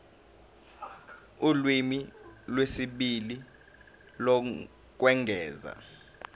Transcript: ulimi lwesibili lokwengeza